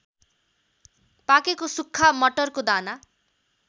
पाकेको सुक्खा मटरको दाना